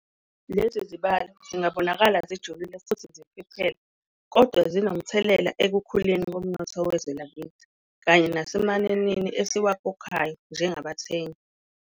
Lezi zibalo zingabonakala zijulile futhi zifiphele, kodwa zinomthelela ekukhuleni komnotho wezwe lakithi kanye nasemananini esiwakhokhayo njengabathengi.